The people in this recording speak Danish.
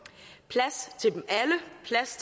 plads